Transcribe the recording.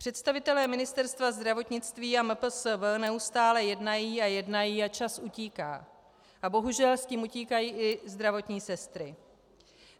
Představitelé Ministerstva zdravotnicí a MPSV neustále jednají a jednají a čas utíká a bohužel s tím utíkají i zdravotní sestry.